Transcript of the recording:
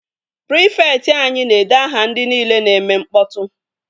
Prịfekt anyi na-ede aha ndị nile na-eme mkpọtụ